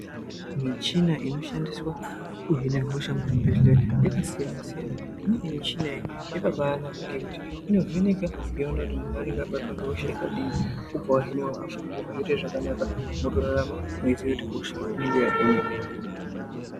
Michina inoshandiswa kuhina hosha muzvibhedleya yakasiyana siyana. Imweni michina iyi yakabanaka ngekuti inovheneka yoona kuti muntu unenga wabatwa ngehosha yakadii wobva wahinwa hosha woita zvakanaka wotorarama uchiziya kuti hosha inenge yahinwa.